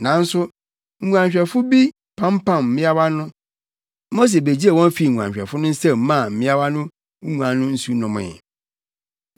Nanso nguanhwɛfo bi pampam mmeawa no. Mose begyee wɔn fii nguanhwɛfo no nsam maa mmeawa no nguan no nsu nomee.